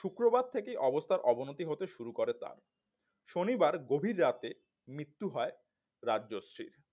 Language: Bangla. শুক্রবার থেকেই অবস্থার অবনতি হতে শুরু করে তার শনিবার গভীর রাতে মৃত্যু হয় রাজশ্রীর